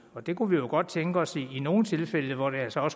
og det kunne vi godt tænke os i nogle tilfælde hvor det jo så